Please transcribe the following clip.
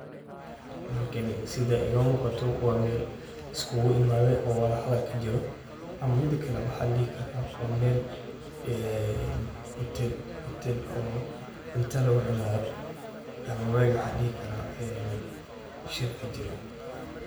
Halkan sida iga muuqato waa Mel liskugu imade oo wadal hadal kajiro ama mid kale waxaa ladhihi karaa waa Mel ee hutel oo cunta laga cunayo ama Mel waxan dhihi karaa ee shir kajiro.